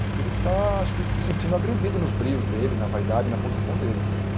É que ele está, acho que, se sentindo agredido nos brios dele, na vaidade, na posição dele.